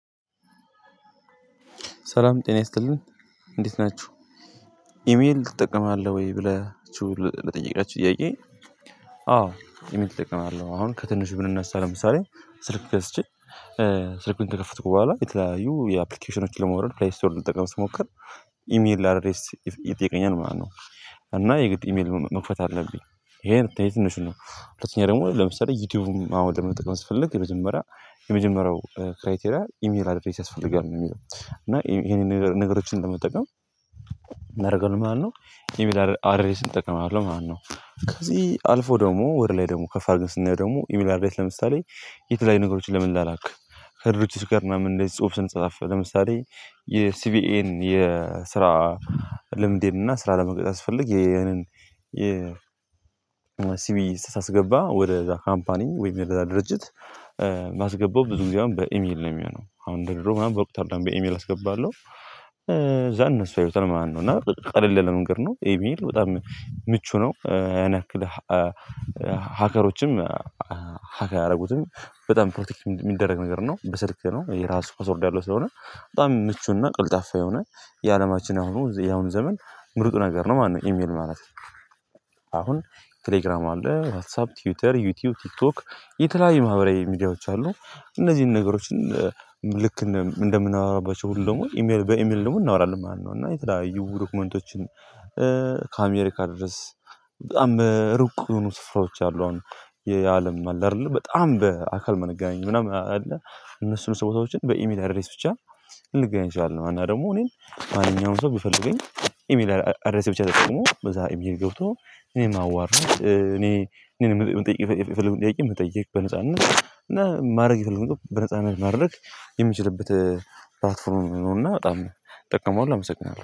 ሰላም ጤና ይስጥልን እንዴት ናችሁ ኢሜል እጠቀማለሁ ወይ ብላችሁ ለጠየቃችሁኝ ጥያቄ? አዎ ኢሜል እጠቀማለሁ አሁን ከትንሹ ብንነሳ ለምሳሌ ስልክ ገዝቼ ስልክ እንደከፈቱ በኋላ የተለያዩ የአፕሊኬሽኖችን ለመውረድ ፕሌይ ስቶርድ ልትጠቀም ስትሞክር ኢሜል ላይ አድሬስ ይጠይቀኛል ማለት ነው። እና የግድ ኢሜል መክፈት አለብኝ ይሄ ትንሹ ነው። ሁለተኛ ደግሞ ለምሳሌ ዩቲዩብም አሁን ደግሞ መጠቀም ስትፈልግ የመጀመሪያ የመጀመሪያው ክራይቴሪያ ኢሜል አድሬስ ያስፈልጋል ነው የሚለው። እና ይሄንን ነገር ነገሮችን እንደምጠቀም እናደርገው ማነው የሚል አድሬስ እጠቀማለሁ ማለት ነው። ከዚህ አልፎ ደግሞ ወደ ላይ ደግሞ ከፈርንስና ደግሞ ዩሚላርዴት ለምሳሌ የተለያዩ ነገሮችን ለምን ላላክ? ከድርጅቱ ጋር እና ምን ጽሁፍ ስንጻፍ ለምሳሌ የሲቪኤን የስራ ልምድ እና ስራ ለመግደል ያስፈልግ ይሄንን የ ሲቪ ስታስገባ ወደ ዛ ሃምፓኒ ወይም የዛ ድርጅት ማስገባት ብዙ ጊዜ አሁን በኢሜል ነው የሚሆነው አሁን እንደ ድሮው ምናምን በቁጥር ኢሜል አስገባለሁ። ከዛ እነሱ ያዩታል ማለት ነው እና ቀለል መንገድ ነው ኢሜል በጣም ምቹ ነው ያንክል። ሀከሮችም ሀካ ያደረጉትም በጣም ፕሮቴክት የሚደረግ ነገር ነው በስልክ ነው የራሱ ኮስ ወርዶ ያለው ስለሆነ በጣም ምቹና ቀልጣፋ የሆነ የአለማችን አሁኑ ያሁን ዘመን ምርጡ ነገር ነው ማነው ኢሜል ማለት ነው። አሁን ቴሌግራም አለ ዋትሳፕ ትዊተር ዩቲዩብ ቲክቶክ የተለያዩ ማህበራዊ ሚዲያዎች አሉ። እነዚህን ነገሮችን ልክ እንደምናወራባቸው ሁሉ ደግሞ ኢሜል በኢሜል ደግሞ እናወራለን ማለት ነው። እና የተለያዩ ዶኩመንቶችን ከአሜሪካ ድረስ በጣም ሩቅ የሆኑ ስፍራዎች አሉ አሁን የአለም አለ አይደለ በጣም በአካል መነጋነጃ አለ። እነሱን ሰዎችን በኢሜል አድሬስ ብቻ ልንገኝ እችላለሁ። እና ደግሞ እኔን ማንኛውንም ሰው ቢፈልገኝ ኢሜል አዳዲስ ብቻ ነው ደግሞ በዛ ኢሜል ገብቶ እኔም አዋርን እኔ የምጠይቅ የምጠይቅ የምጠይቅ በነፃ እና ማድረግ የፈለግህውን በነጻነት ማድረግ የምችልበት ፓትፎርም ነውና በጣም እጠቀመዋለሁ። አመሰግናለሁ